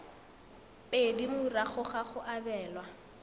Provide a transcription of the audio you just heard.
pedi morago ga go abelwa